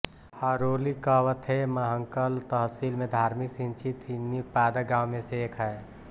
हरोली कवथेमहंकल तहसील में धार्मिक सिंचित चीनी उत्पादक गांव में से एक है